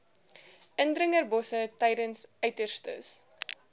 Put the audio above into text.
indringerbosse tydens uiterste